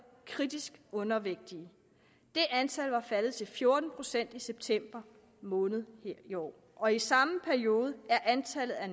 kritisk undervægtige det antal var faldet til fjorten procent i september måned her i år og i samme periode er antallet af